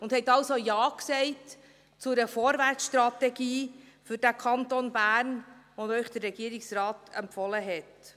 Sie haben also Ja gesagt zu einer Vorwärtsstrategie für den Kanton Bern, welche Ihnen der Regierungsrat empfohlen hat.